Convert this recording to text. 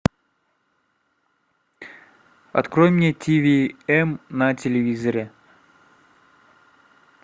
открой мне тв м на телевизоре